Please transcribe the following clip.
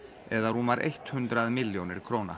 eða rúmar eitt hundrað milljónir króna